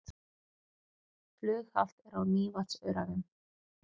Flughált er á Mývatnsöræfum